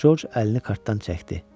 Co əlini kartdan çəkdi.